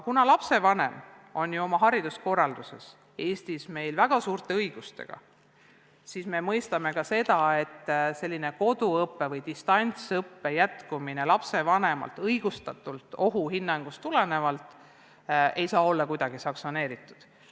Kuna lapsevanem on Eesti hariduskorralduses väga suurte õigustega, siis me mõistame ka seda, et distantsõppe jätkamine lapsevanema õigustatud ohuhinnangust tulenevalt ei saa kuidagi olla sanktsioneeritud.